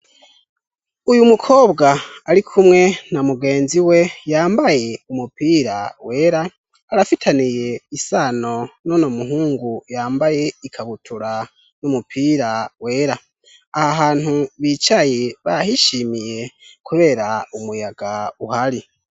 Uyu mukobwa ari kumwe na mugenzi we yambaye umupira wera arafitaniye isano nono muhungu yambaye ikabutura n'umupira wera aha hantu bicaye bahishimiye, kubera umuyaga uhari.